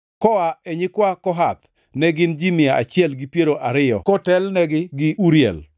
Koa e nyikwa Kohath, ne gin ji mia achiel gi piero ariyo kotelnegi gi Uriel,